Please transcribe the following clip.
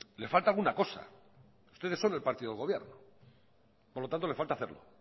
le falta alguna cosa ustedes son el partido del gobierno por lo tanto le hace falta hacerlo